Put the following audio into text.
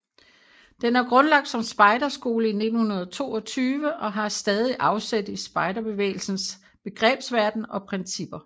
Den er grundlagt som spejderskole i 1922 og har stadig afsæt i spejderbevægelsens begrebsverden og principper